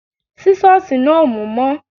Sísọ̀sì náà ò mú mọ́